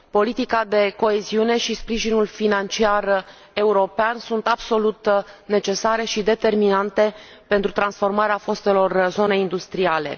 Politica de coeziune și sprijinul financiar european sunt absolut necesare și determinante pentru transformarea fostelor zone industriale.